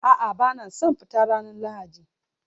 A'a, ba na son fita ranar Lahadi